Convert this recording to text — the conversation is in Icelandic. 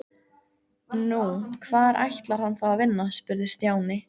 Nú, hvar ætlar hann þá að vinna? spurði Stjáni.